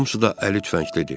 Hamısı da əli tüfənglidir.